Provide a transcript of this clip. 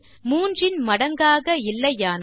மூன்றின் மடங்காக இல்லையானால்